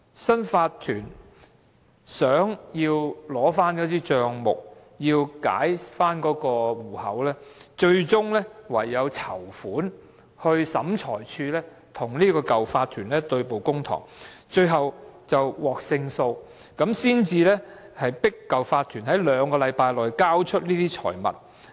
新的法團為取回帳目，解除被凍結的戶口，最終只有籌款，與原有法團在審裁處對簿公堂，最後獲得勝訴，才能迫使原有法團在兩星期內交出這些財物。